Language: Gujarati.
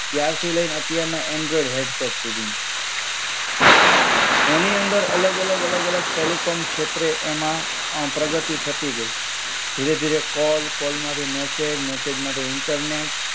ત્યારથી લઈને અત્યાર એન્ડ્રોઇડ હેડસેટ સુધી એની અંદર અલગ-અલગ અલગ-અલગ ટેલિકોમ ક્ષેત્રે એમાં પ્રગતિ થતી ગઈ. ધીરે-ધીરે કોલ, કોલ માંથી મેસેજ, મેસેજ માંથી ઇન્ટરનેટ.